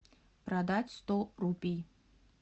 продать сто рупий